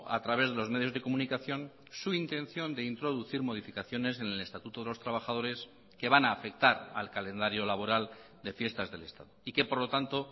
a través de los medios de comunicación su intención de introducir modificaciones en el estatuto de los trabajadores que van a afectar al calendario laboral de fiestas del estado y que por lo tanto